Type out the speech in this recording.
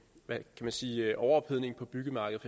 man sige overophedningen på byggemarkedet